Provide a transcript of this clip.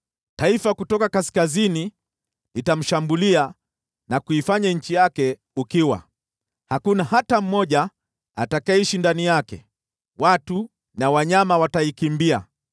Taifa kutoka kaskazini litamshambulia, na kuifanya nchi yake ukiwa. Hakuna hata mmoja atakayeishi ndani yake, watu na wanyama wataikimbia.